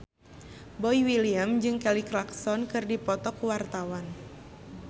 Boy William jeung Kelly Clarkson keur dipoto ku wartawan